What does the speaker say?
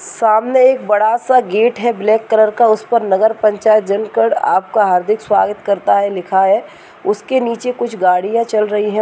सामने एक बड़ा सा गेट है। ब्लैक कलर का उसपर नगर पंचायत जनकड आपका हार्दिक स्वागत करता है लिखा है उसके नीचे कुछ गाड़ियाँ चल रही हैं।